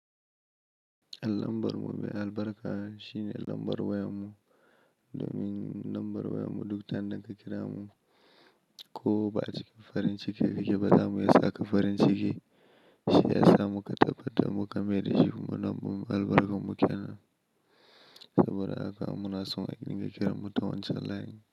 Alambar mu mai albarka shine lambar wayar mu domin lambar wayar mu duk ta inda ka kira mu ko ba a cikin farin ciki ka ke ba, zamu iya sa ka farin ciki, shi ya sa muka tabbatar muka mayar da shi mu na albarkar mu ke nan. Saboda haka munason a dinga kira mu ta wancan line.